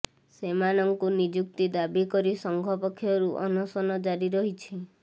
ସେମାନଙ୍କୁ ନିଯୁକ୍ତି ଦାବି କରି ସଂଘ ପକ୍ଷରୁ ଅନଶନ ଜାରି ରହିଛି